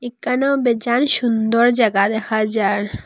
এখানেও বেজান সুন্দর জাগা দেখা যার।